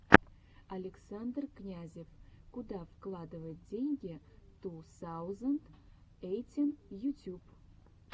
александр князев куда вкладывать деньги ту саузенд эйтин ютюб